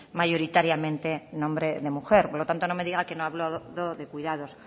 mayoritariamente nombre de mujer por lo tanto no me diga he hablado de cuidados